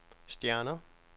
stjerner